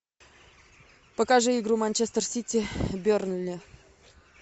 покажи игру манчестер сити бернли